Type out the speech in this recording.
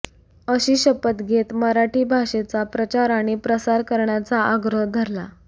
अशी शपथ घेत मराठी भाषेचा प्रचार आणि प्रसार करण्याचा आग्रह धरला